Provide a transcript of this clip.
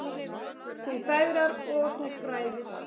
Þú fegrar og þú fræðir.